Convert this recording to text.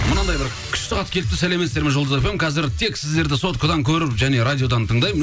мынандай бір күшті хат келіпті сәлеметсіздер ме жұлдыз фм қазір тек сіздерді соткадан көріп және радиодан тыңдаймын